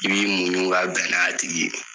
I b'i muɲu ka bɛn n'a tigi ye.